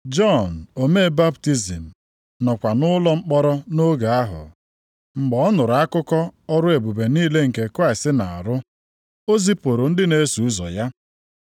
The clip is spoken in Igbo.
Jọn omee baptizim nọkwa nʼụlọ mkpọrọ nʼoge ahụ. Mgbe ọ nụrụ akụkọ ọrụ ebube niile nke Kraịst na-arụ, o zipụrụ ndị na-eso ụzọ ya.